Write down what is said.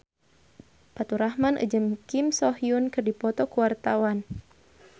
Faturrahman jeung Kim So Hyun keur dipoto ku wartawan